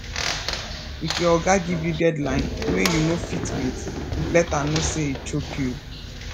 if your oga give you deadline wey you no fit meet let am know sey e choke you